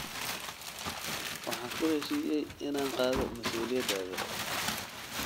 Waxaan ku heshiiyey inaan qaado masuuliyadaada